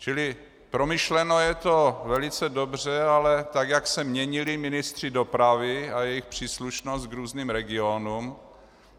Čili promyšleno je to velice dobře, ale tak jak se měnili ministři dopravy a jejich příslušnost k různým regionům,